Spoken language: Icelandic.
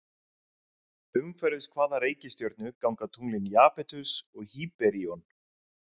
Umhverfis hvaða reikistjörnu ganga tunglin Japetus og Hýperíon?